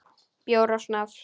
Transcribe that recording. Bjór og snafs.